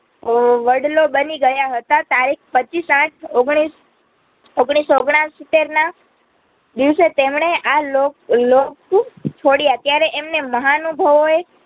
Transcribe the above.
ઓ વડલો બનિગયા હતા તારીખ પચ્ચીસ આઠ ઓગણીસ ઓગણીસસો ઓગણસીત્તેરના દિવસે તેમણે આ લોક લોક છોડીયા ત્યારે એમને મહાનુભાવએ